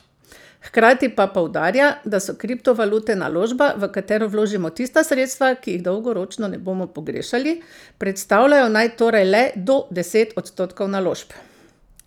Hkrati pa poudarja, da so kriptovalute naložba, v katero vložimo tista sredstva, ki jih dolgoročno ne bomo pogrešali, predstavljajo naj torej le do deset odstotkov naložb.